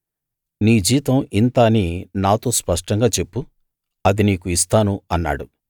నీ జీతం ఇంత అని నాతో స్పష్టంగా చెప్పు అది నీకు ఇస్తాను అన్నాడు